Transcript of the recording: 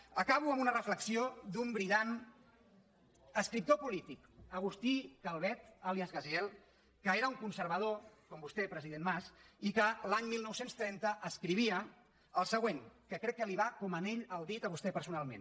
acabo amb una reflexió d’un brillant escriptor polític agustí calvet àlies gaziel que era un conservador com vostè president mas i que l’any dinou trenta escrivia el següent que crec que va com anell al dit a vostè personalment